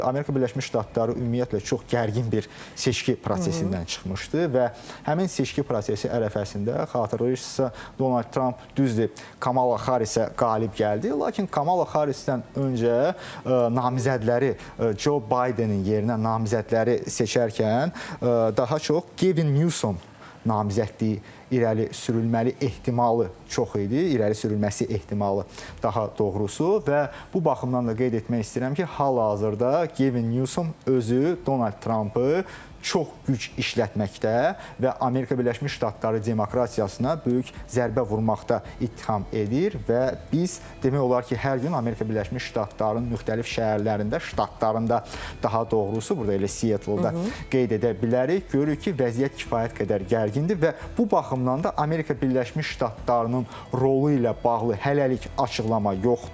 Amerika Birləşmiş Ştatları ümumiyyətlə çox gərgin bir seçki prosesindən çıxmışdı və həmin seçki prosesi ərəfəsində xatırlayırsınızsa, Donald Trump düzdür Kamala Harrisə qalib gəldi, lakin Kamala Harrisdən öncə namizədləri Joe Bidenin yerinə namizədləri seçərkən daha çox Gavin Newsom namizədliyi irəli sürülməli ehtimalı çox idi, irəli sürülməsi ehtimalı daha doğrusu və bu baxımdan da qeyd etmək istəyirəm ki, hal-hazırda Gavin Newsom özü Donald Trumpı çox güc işlətməkdə və Amerika Birləşmiş Ştatları demokratiyasına böyük zərbə vurmaqda ittiham edir və biz demək olar ki, hər gün Amerika Birləşmiş Ştatlarının müxtəlif şəhərlərində, ştatlarında daha doğrusu burda elə Seattle-da qeyd edə bilərik, görürük ki, vəziyyət kifayət qədər gərgindir və bu baxımdan da Amerika Birləşmiş Ştatlarının rolu ilə bağlı hələlik açıqlama yoxdur.